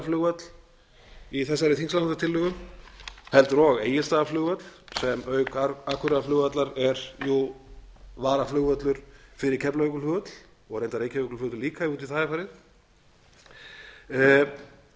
akureyrarflugvöll í þessari þingsályktunartillögu heldur og egilsstaðaflugvöll sem auk akureyrarflugvallar er jú varaflugvöllur fyrir keflavíkurflugvöll og reyndar reykjavíkurflugvöll líka ef út í það er